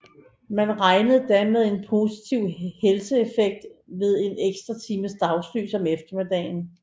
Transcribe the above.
Man regnede da med en positiv helseeffekt ved en ekstra time dagslys om eftermiddagen